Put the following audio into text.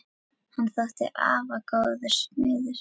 Hann þótti afar góður smiður.